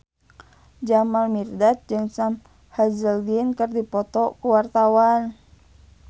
Jamal Mirdad jeung Sam Hazeldine keur dipoto ku wartawan